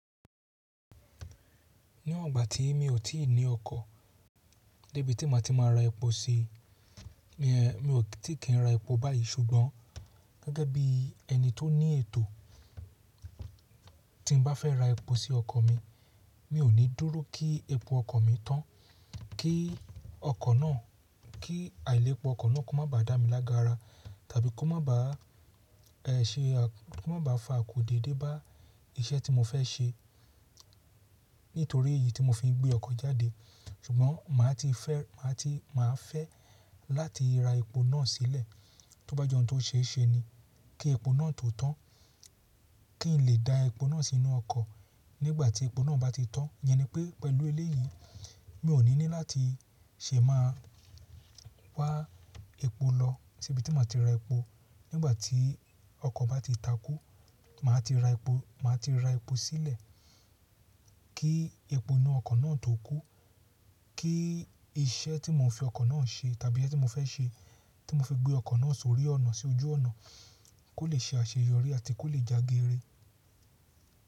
Ní iwon gbà tí mi ò tí ì ní ọkọ̀, dé bi tí màá ti máa ra epo sí, mi ò ti kín ra epo báyìí ṣùgbọ́n gẹ́gẹ́ bí ẹni tó ní ètò, tí n bá fẹ́ ra epo sí ọkọ̀ mi, mi ò ní dúró kí epo ọkọ̀ mi tán kí ọkọ̀ náà, kí àìlèpo ọkọ̀ náà kó má ba dá mi lágara tàbí kó má ba ṣe, kó má ba fa àkó dédé bá iṣẹ́ tí mo fẹ́ ṣe nítorí èyí tí mo fi ń gbé ọkọ̀ jáde. Ṣùgbọ́n màá ti fẹ́, màá ti máa fẹ́ láti ra epo náà sílẹ̀ tó bá je òun tòṣe ṣe ni kí epo náà tó tán, kí n lè da epo náà sínú ọkọ̀ nígbà tí epo náà bá ti tán. Iyẹn ni pé pẹ̀lú eléyìí, mi ò ní ní láti ṣe máa wá epo lọ sí ibi tí màá ti ra epo. Nígbà tí ọkọ̀ bá ti takú, màá ti ra epo, màá ti ra epo sílẹ̀ kí epo inú ọkọ̀ náà tó kú, kí iṣẹ́ tí mò ń fi ọkọ̀ náà ṣe tàbí iṣẹ́ tí mo fẹ́ ṣe, tí mo fi gbé ọkọ̀ náà sórí ọ̀nà sí ojú ọ̀nà kó lè ṣe àṣeyọrí àti kó lè jagere.